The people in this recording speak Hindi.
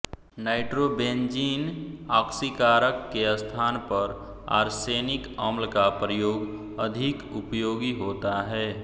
नाइट्रोबेंज़ीन आक्सीकारक के स्थान पर आर्सेनिक अम्ल का प्रयोग अधिक उपयोगी होता है